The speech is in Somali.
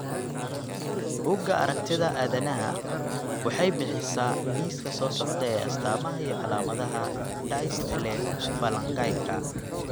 Bugaa aragtida aDdanaha waxay bixisaa liiska soo socda ee astamaha iyo calaamadaha dystelephalangyka.